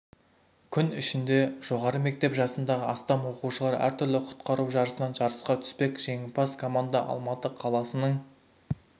күн ішінде жоғары мектеп жасындағы астам оқушылары әртүрлі құтқару жарысынан жарысқа түспек жеңімпаз команда алматы қаласының